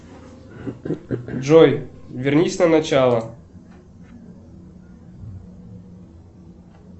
джой вернись на начало